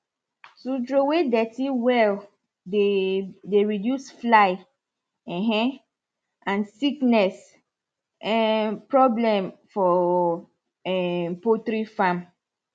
to throw away dirty well dey dey reduce fly um and sickness um problem for um poultry farm